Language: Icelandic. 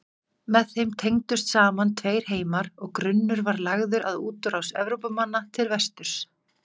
Með þeim tengdust saman tveir heimar og grunnur var lagður að útrás Evrópumanna til vesturs.